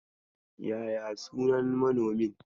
Yaya sunan manomin?